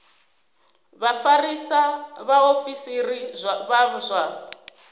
vha vhafarisa vhaofisiri vha zwa